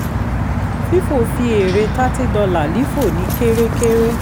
fifo fi èrè $30 lifo ní kere kere